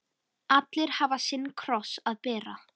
Allir hafa sinn kross að bera.